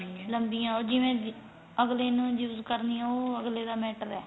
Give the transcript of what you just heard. ਲੰਬੀਆਂ ਉਹ ਜਿਵੇਂ ਅੱਗਲੇ ਦਿਨ ਉਹ use ਕਰਨੀਆਂ ਉਹ ਅੱਗਲੇ d matter ਏ